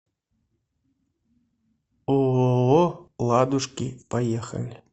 ооо ладушки поехали